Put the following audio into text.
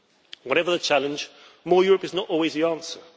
Whatever the challenge, more Europe' is not always the answer.